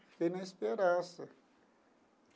Fiquei na esperança.